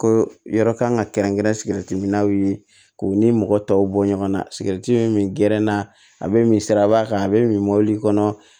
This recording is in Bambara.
Ko yɔrɔ kan ka kɛrɛnkɛrɛn sigɛriti minnaw ye k'u ni mɔgɔ tɔw bɔ ɲɔgɔn na sigɛriti min gɛrɛnna a be min siraba kan a be min mɔbili kɔnɔ